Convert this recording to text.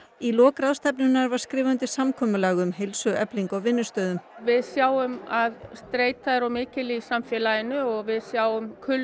í lok ráðstefnunnar var skrifað undir samkomulag um heilsueflingu á vinnustöðum við sjáum að streita er of mikil í samfélaginu og við sjáum kulnun